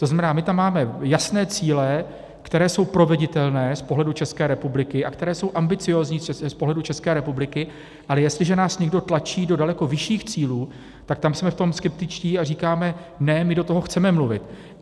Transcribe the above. To znamená, že tam máme jasné cíle, které jsou proveditelné z pohledu České republiky a které jsou ambiciózní z pohledu České republiky, ale jestliže nás někdo tlačí do daleko vyšších cílů, tak tam jsme v tom skeptičtí a říkáme ne, my do toho chceme mluvit.